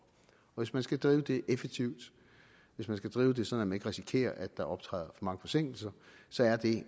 hvis man skal drive det effektivt hvis man skal drive det sådan ikke risikerer at der optræder mange forsinkelser så er det